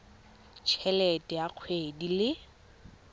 t helete ya kgwedi le